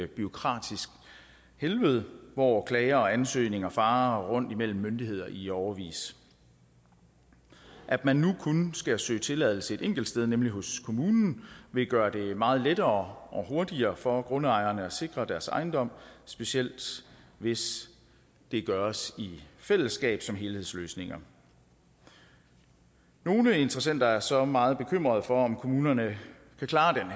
bureaukratisk helvede hvor klager og ansøgninger farer rundt imellem myndigheder i årevis at man nu kun skal søge tilladelse et enkelt sted nemlig hos kommunen vil gøre det meget lettere og hurtigere for grundejerne at sikre deres ejendom specielt hvis hvis det gøres i fællesskab som helhedsløsninger nogle interessenter er så meget bekymrede for om kommunerne kan klare den